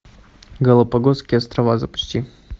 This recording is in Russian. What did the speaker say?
галапагосские острова запусти